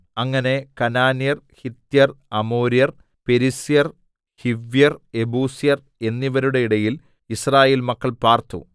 അങ്ങനെ കനാന്യർ ഹിത്യർ അമോര്യർ പെരിസ്യർ ഹിവ്യർ യെബൂസ്യർ എന്നിവരുടെ ഇടയിൽ യിസ്രായേൽ മക്കൾ പാർത്തു